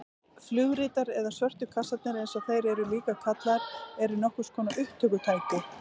Flugritar eða svörtu kassarnir eins og þeir eru líka kallaðir eru nokkurs konar upptökutæki.